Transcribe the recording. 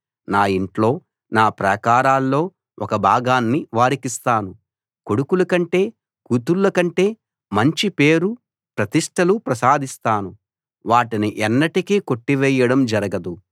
నా ఇంట్లో నా ప్రాకారాల్లో ఒక భాగాన్ని వారికిస్తాను కొడుకులకంటే కూతుళ్లకంటే మంచి పేరు ప్రతిష్టలు ప్రసాదిస్తాను వాటిని ఎన్నటికీ కొట్టివేయడం జరగదు